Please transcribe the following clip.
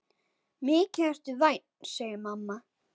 Mikið ertu vænn, segir mamma.